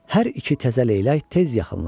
Hər iki təzə leylək tez yaxınlaşdı.